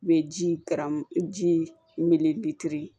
Bɛ ji karamugu ji mti